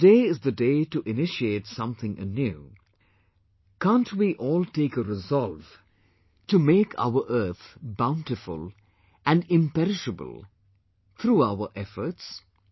Since today is the day to initiate something anew, cannot we all take a resolve to make our earth bountiful and imperishable through our efforts